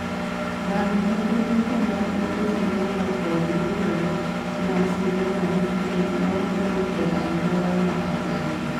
Rang nengo duto mag ute sinema kod yudore ma sinema manyien ma ogol e alwora adakie